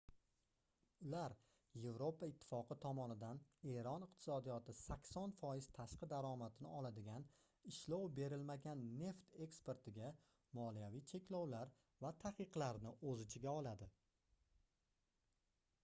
ular yevropa ittifoqi tomonidan eron iqtisodiyoti 80% tashqi daromadini oladigan ishlov berilmagan neft eksportiga moliyaviy cheklovlar va taqiqlarni oʻz ichiga oladi